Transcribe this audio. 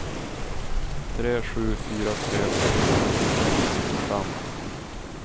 tre sju fyra tre åttio åttahundrasextiofem